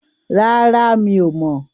Rárá, mi ò mọ̀.